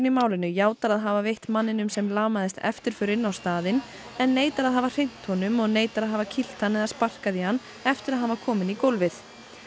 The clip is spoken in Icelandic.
í málinu játar að hafa veitt manninum sem lamaðist eftirför inn á staðinn en neitar að hafa hrint honum og neitar að hafa kýlt hann eða sparkað í hann eftir að hann var kominn í gólfið